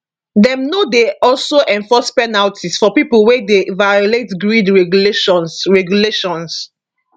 dem no dey also enforce penalties for pipo wey dey violate grid regulations regulations